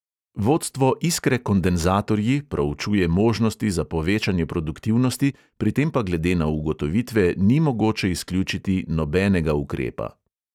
"Vodstvo iskre kondenzatorji proučuje možnosti za povečanje produktivnosti, pri tem pa glede na ugotovitve ni mogoče izključiti nobenega ukrepa."